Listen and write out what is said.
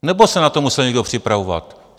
Nebo se na to musel někdo připravovat?